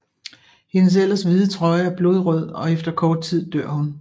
Hendes ellers hvide trøje er blodrød og efter kort tid dør hun